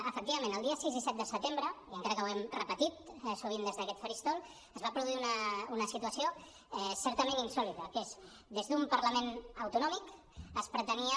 efectivament els dies sis i set de setembre i encara que ho hem repetit sovint des d’aquest faristol es va produir una situació certament insòlita que és des d’un parlament autonòmic es pretenia